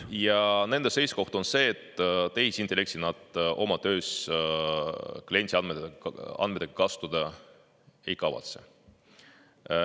Ja nende seisukoht on see, et tehisintellekti nad oma töös kliendiandmetega kasutada ei kavatse.